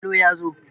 yalo ya zo!